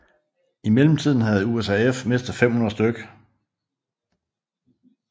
I mellemtiden havde USAF mistet 500 stk